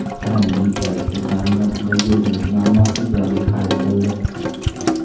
Qrimning elektr ta’minotidagi uzilish muammosi ijobiy hal etildi.